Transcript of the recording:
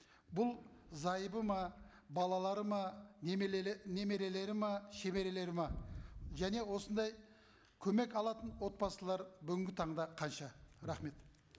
бұл зайыбы ма балалары ма немерелері ме шөберелері ме және осындай көмек алатын отбасылар бүгінгі таңда қанша рахмет